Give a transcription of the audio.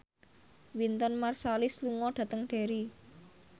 Wynton Marsalis lunga dhateng Derry